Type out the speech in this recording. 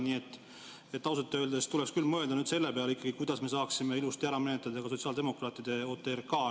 Nii et ausalt öeldes tuleks nüüd küll mõelda ikkagi selle peale, kuidas me saaksime ilusti ära menetleda ka sotsiaaldemokraatide OTRK.